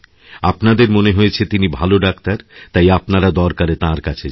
আপনাদের মনে হয়েছে তিনি ভালো ডাক্তার তাই আপনারা দরকারে তাঁর কাছে যান